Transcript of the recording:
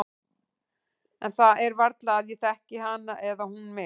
En það er varla að ég þekki hana eða hún mig.